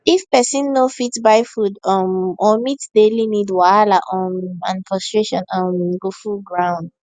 if pesin no fit buy food um or meet daily need wahala um and frustration um go full ground